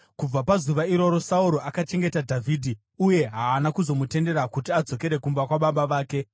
Kubva pazuva iroro, Sauro akachengeta Dhavhidhi uye haana kuzomutendera kuti adzokere kumba kwababa vake.